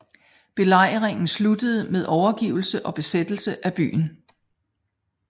Belejringen sluttede med overgivelse og besættelse af byen